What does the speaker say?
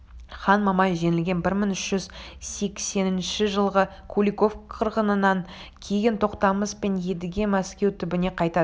хан мамай жеңілген бір мың үш жүз сексенінші жылғы куликов қырғынынан кейін тоқтамыс пен едіге мәскеу түбіне қайтадан